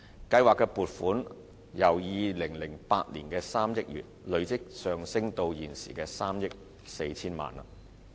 計劃的撥款由2008年的3億元累積上升至現時的3億 4,000 萬元。